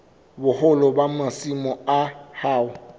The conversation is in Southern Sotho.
boholo ba masimo a hao